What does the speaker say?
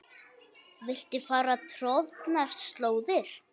Viltu fara troðnar slóðir?